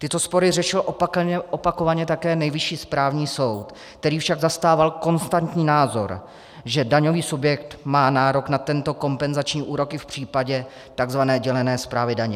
Tyto spory řešil opakovaně také Nejvyšší správní soud, který však zastával konstantní názor, že daňový subjekt má nárok na tento kompenzační úrok i v případě tzv. dělené správy daně.